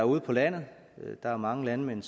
ude på landet mange landmænd